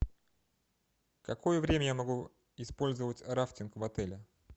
какое время я могу использовать рафтинг в отеле